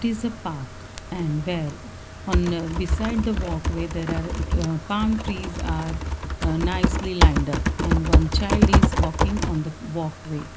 it is a park and where and beside the walkway there are palm trees are ah nicely land up and one child is walking on the walkway.